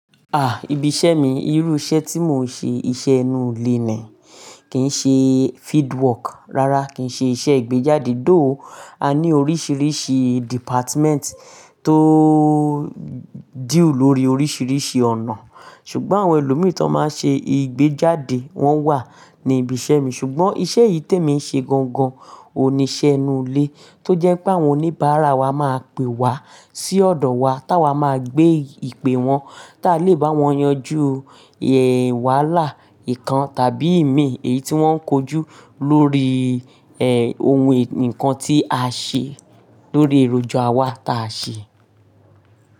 Ah ibi iṣẹ́ mi, irú iṣẹ́ tí mo ń ṣe, iṣẹ́ ẹnu lé ni. Kì í ṣe field work, rárá kì í ṣe iṣẹ́ ìgbéjáde, though A ní oríṣiríṣi department tó deal lórí oríṣiríṣi ọ̀nà. Ṣùgbọ́n àwọn ẹlòmí tó máa n ṣe ìgbéjáde wọ́n wà ní ibi iṣẹ́ mi. Ṣùgbọ́n iṣẹ́ yìí tí èmi ń ṣe gangan, òun ni ise inule. Tó jẹ́ pé àwọn oníbàárà wa máa pè wá sí ọ̀dọ̀ wa táa wa máa gbé ìpè wọn tá a lè bá wọn yanjú wàhálà ìkan tàbí ìmí èyí tí wọ́n ń kojú lórí ohun nǹkan tí a ṣe, lórí èròjà wa tá a ṣe.